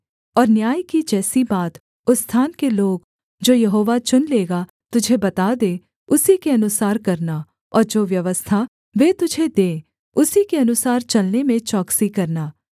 और न्याय की जैसी बात उस स्थान के लोग जो यहोवा चुन लेगा तुझे बता दें उसी के अनुसार करना और जो व्यवस्था वे तुझे दें उसी के अनुसार चलने में चौकसी करना